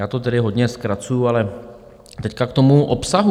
Já to tedy hodně zkracuji, ale teď k tomu obsahu.